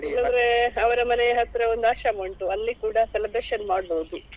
ಇಲ್ಲದ್ರೆ ಅವರ ಮನೆ ಹತ್ರ ಒಂದು ಆಶ್ರಮ ಉಂಟು ಅಲ್ಲಿ ಕೂಡ celebration ಮಾಡ್ಬೋದು.